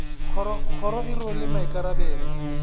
kgoro e rwele gape maikarabelo